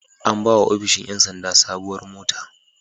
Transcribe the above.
An ba wa ofishin ƴan sanda sabuwar mota.